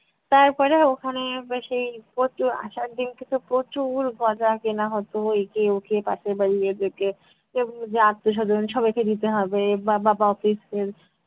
তারপরে ওখানে বেশি প্রচুর, আসার দিনকে তো প্রচুর গজা কেনা হতো একে ওকে পাশের বাড়ি এদেরকে যে আত্মীয়-স্বজন সবাইকে দিতে হবে বা বাবা office এর